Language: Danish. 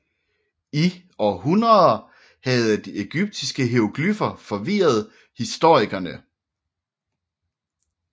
I århundreder havde de ægyptiske hieroglyffer forvirret historikerne